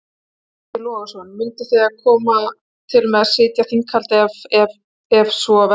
Breki Logason: Munuð þið koma til með að sitja þinghaldið ef ef ef svo verður?